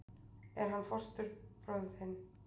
Er hann fóstbróðir þinn?